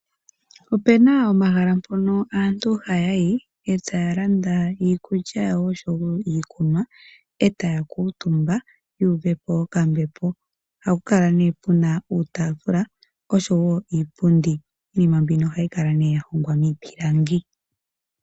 Opena omahala mpono aantu ha yayi etaalanda iikulya yawo nosho woo iikunwa, etaakutumba yuuvepo okambepo. Pomahala mpaka ohapu kala née puna uutafula nosho woo iipundi niinima mbika ohayi kala yahogwa miipilangi.